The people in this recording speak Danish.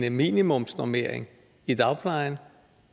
en minimumsnormering i dagplejen